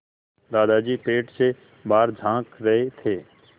दादाजी पेड़ से बाहर झाँक रहे थे